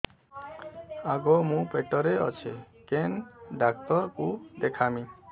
ଆଗୋ ମୁଁ ପେଟରେ ଅଛେ କେନ୍ ଡାକ୍ତର କୁ ଦେଖାମି